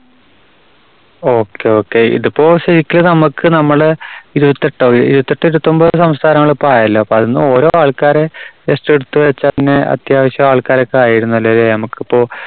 okay, okay. ഇതിപ്പോ ശരിക്ക് നമുക്ക് നമ്മള് ഇരുപത്തെട്ടോ, ഇരുപത്തെട്ടോ, ഇരുപത്തൊമ്പതോ സംസ്ഥാനങ്ങള് ഇപ്പൊ ആയല്ല. അപ്പോ അതിന്ന് ഓരോ ആൾക്കാരെ just എടുത്തുവെച്ചാൽ പിന്നെ അത്യാവശ്യം ആൾക്കാരൊക്കെ ആയിരുന്നല്ലേ നമുക്കിപ്പോ